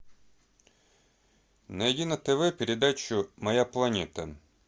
найди на тв передачу моя планета